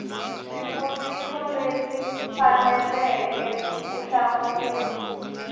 swivutiso leswi faneleke ku hlamuriwa